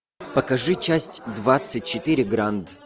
покажи часть двадцать четыре гранд